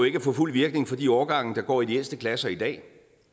ikke at få fuld virkning for de årgange der går i de ældste klasser i dag